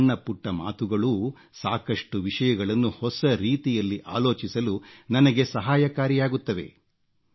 ನಿಮ್ಮ ಸಣ್ಣ ಪುಟ್ಟ ಮಾತುಗಳೂ ಸಾಕಷ್ಟು ವಿಷಯಗಳನ್ನು ಹೊಸ ರೀತಿಯಲ್ಲಿ ಆಲೋಚಿಸಲು ನನಗೆ ಸಹಾಯಕಾರಿಯಾಗುತ್ತವೆ